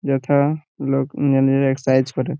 যেথা-আ লোক নুয়ে নিয়ে এক্সসসাইজ করে।